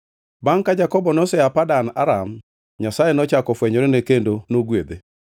Bangʼ ka Jakobo nosea Padan Aram, Nyasaye nochako ofwenyorene kendo nogwedhe.